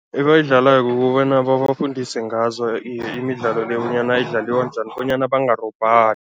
Ebayidlalako kukobana babafundise ngazo imidlalo le bonyana idlaliwa njani, bonyana bangarobhani.